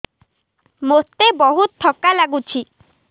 ମୋତେ ବହୁତ୍ ଥକା ଲାଗୁଛି